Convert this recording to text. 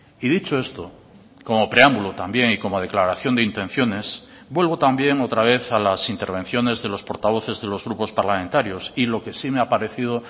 y dicho esto como preámbulo también y como declaración de intenciones vuelvo también otra vez a las intervenciones de los portavoces de los grupos parlamentarios y lo que sí me ha parecido